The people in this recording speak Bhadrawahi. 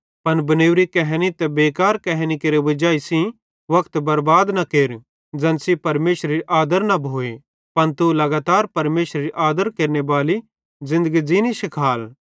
पन बनेवरी कहैनी ते बेकार कहैनी केरे वजाई सेइं वक्त बरबाद न केर ज़ैन सेइं परमेशरेरी आदर न भोए पन तू लगातर परमेशरेरी आदर केरनेबाली ज़िन्दगी ज़ीनी शिखाल